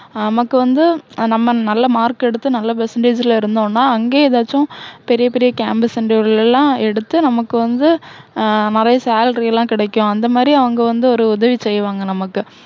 நமக்கு வந்து, நம்ம நல்ல mark எடுத்து, நல்ல percentage ல இருந்தோன்னா, அங்கேயே எதாச்சும் பெரிய பெரிய campus interview ல எல்லாம் எடுத்து, நமக்கு வந்து ஹம் நிறைய salary லாம் கிடைக்கும். அந்த மாதிரி அவங்க வந்து ஒரு உதவி செய்வாங்க நமக்கு.